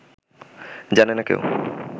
জানে না কেউ